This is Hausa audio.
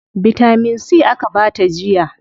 Bitamin C aka bata jiya.